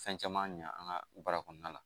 Fɛn caman ɲɛ an ka baara kɔnɔna la